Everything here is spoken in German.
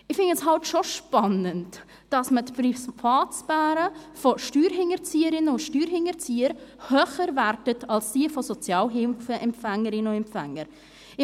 Ich finde es schon spannend, dass man die Privatsphäre von Steuerhinterzieherinnen und Steuerhinterziehern höher gewichtet als diejenige von Sozialhilfeempfängerinnen und -empfängern.